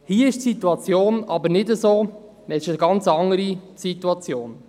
Hier ist die Situation aber nicht so, es ist eine ganz andere Situation.